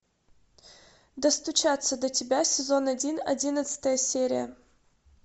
достучаться до тебя сезон один одиннадцатая серия